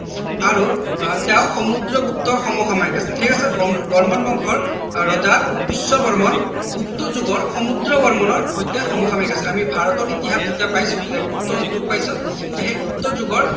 আৰু আহ তেওঁ সমুদ্ৰগুপ্তৰ সম সাময়িক আছিল ঠিক আছে বৰ্মন বংশৰ ৰজা পুষ্য বৰ্মন গুপ্ত যুগৰ সমুদ্ৰ বৰ্মনৰ হত্যা সম সাময়িক আছিল আমি ভাৰত ইতহাস যেতিয়া পাইছো তেতিয়া গুপ্ত যুগ পাইছো সেই গুপ্ত যুগত